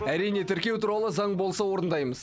әрине тіркеу туралы заң болса орындаймыз